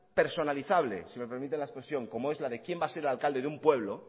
personalizable si me permite la expresión como es quién va a ser el alcalde de un pueblo